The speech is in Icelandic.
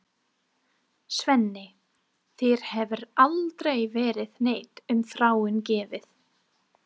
Svenni, þér hefur aldrei verið neitt um Þráin gefið.